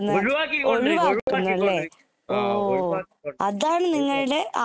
ഒഴിവാക്കിക്കൊണ്ടിരിക്കുക ഒഴിവാക്കിക്കൊണ്ടിരിക്കുക ആഹ് ഒഴിവാക്കിക്കൊണ്ടിരിക്കുക